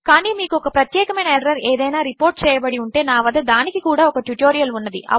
కానీ మీకు ఒక ప్రత్యేకమైన ఎర్రర్ ఏదైనా రిపర్ట్ చేయబడి ఉంటే నా వద్ద దానికి కూడా ఒక ట్యుటోరియల్ ఉన్నది